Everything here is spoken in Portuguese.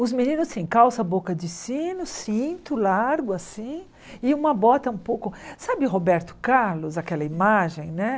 Os meninos, sim, calça, boca de sino, cinto largo, assim, e uma bota um pouco... Sabe Roberto Carlos, aquela imagem, né?